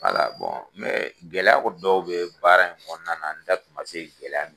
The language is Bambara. gɛlɛya kɔni dɔw be baara in kɔnɔna na, an da tun ma se gɛlɛya munnu